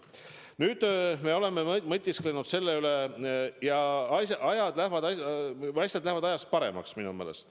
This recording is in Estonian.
Nüüd, me oleme selle üle mõtisklenud ja minu meelest asjad lähevad aja jooksul paremaks.